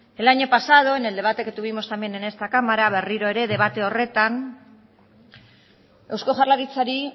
el año pasado en el debate que tuvimos en esta cámara berriro ere debate horretan eusko jaurlaritzari